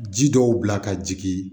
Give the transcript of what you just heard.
Ji dɔw bila ka jigin